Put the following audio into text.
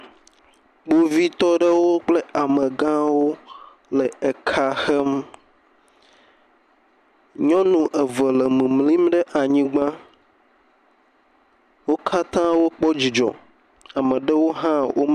Kpovitɔ aɖewo kple amegawo le eka hem, nyɔnu eve le mimlim ɖe anyigba, wo katãa wokpɔ dzidzɔ, ame ɖewo hã wome…